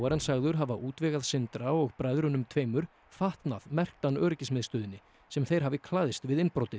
hann sagður hafa útvegað Sindra og bræðrunum tveimur fatnað merktan öryggismiðstöðinni sem þeir hafi klæðst við innbrotið